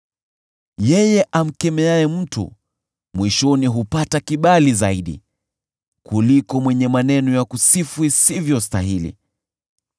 Yeye amkemeaye mtu mwishoni hupata kibali zaidi, kuliko mwenye maneno ya kusifu isivyostahili.